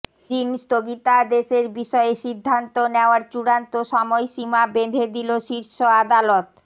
ঋণ স্থগিতাদেশের বিষয়ে সিদ্ধান্ত নেওয়ার চূড়ান্ত সময়সীমা বেঁধে দিল শীর্ষ আদালত